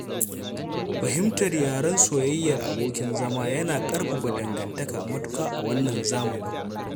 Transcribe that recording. Fahimtar yaren soyayyar abokin zama yana ƙarfafa dangantaka matuƙa a wannan zamani.